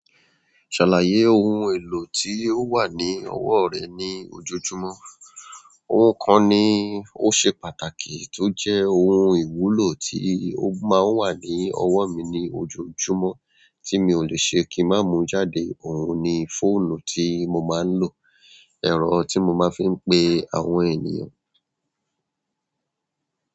Ṣàlàyé ohun èlò tí ó wà ní ọwọ́ rẹ̀ ní ojoojúmọ́. Ohun kan ni ó ṣe pàtàkì tó jẹ́ ohun ìwúlò tí ó máa ń wà ní ọwọ́ mi ní ojojúmọ́ tí mi ò lè ṣe kí máa mú jáde. Ohun ni fóònù tí mo máa ń lò, ẹ̀rọ tí mo máa ń fi ń pe àwọn ènìyàn.